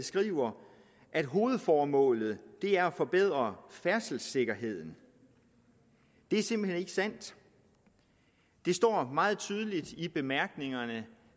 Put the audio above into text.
skriver at hovedformålet er at forbedre færdselssikkerheden det er simpelt hen ikke sandt det står meget tydeligt i bemærkningerne